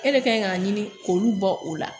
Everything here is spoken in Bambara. E de kan k'a ɲini k'olu bɔ o la